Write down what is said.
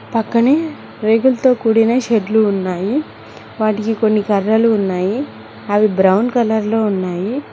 పక్కనే రేగులతో కూడిన షెడ్లు ఉన్నాయి వాటికి కొన్ని కర్రలు ఉన్నాయి అవి బ్రౌన్ కలర్ లో ఉన్నాయి.